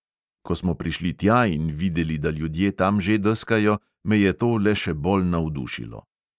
Ko smo prišli tja in videli, da ljudje tam že deskajo, me je to le še bolj navdušilo.